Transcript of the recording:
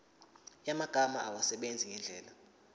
yamagama awasebenzise ngendlela